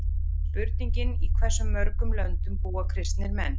Spurningin Í hversu mörgum löndum búa kristnir menn?